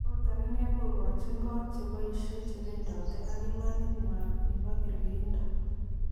Ot akine kokoki kochi kot, cheboishe, chebedoten ak imanit nywan nebo kergeindo.